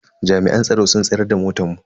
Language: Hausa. Jami'an tsaro sun tsayar da motan mu.